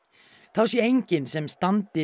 þá sé enginn sem standi